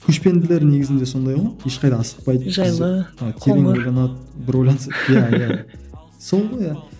көшпенділер негізінде сондай ғой ешқайда асықпайды жайлы қоңыр бір ойланса иә иә сол ғой иә